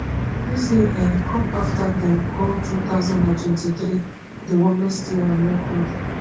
dis dey um come afta dem call two thousand and twenty-three di warmest year on record